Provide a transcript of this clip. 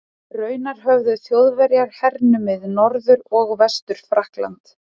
Raunar höfðu Þjóðverjar hernumið Norður- og Vestur-Frakkland.